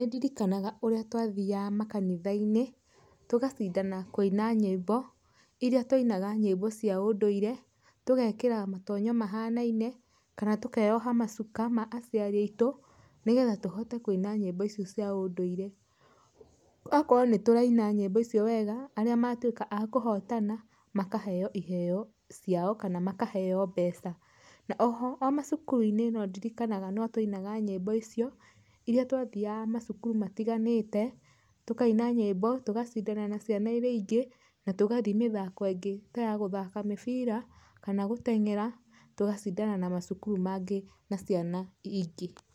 Nĩndirikanaga ũrĩa twathiaga makanitha-inĩ, tũgacindana kũina nyĩmbo, irĩa twainaga nyĩmbo cia ũndũire, tũgekĩra matonyo mahanaine, kana tũkeyoha macuka ma aciari aitũ, nĩgetha tũhote kũina nyĩmbo icio cia ũndũire. Akoo nĩtũraina nyĩmbo icio wega, arĩa matuĩka a kũhotana makaheywo iheyo ciao kana makaheywo mbeca. Na oho o macukuru-inĩ nondirikanaga notwainaga nyĩmbo icio, ĩrĩa twathiaga macukuru matiganĩte, tũkaina nyĩmbo, tũgacindana na ciana iria ingĩ, na tũgathi mĩthako ĩngĩ ta ya gũthaka mĩbira, kana gũteng'era, tũgacindana na macukuru mangĩ na ciana ingĩ.